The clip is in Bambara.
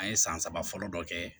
An ye san saba fɔlɔ dɔ kɛ